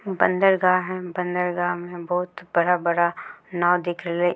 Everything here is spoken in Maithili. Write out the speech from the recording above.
बंदरगाह है। बंदरगाह में बहुत बड़ा-बड़ा नाव दिख रहले।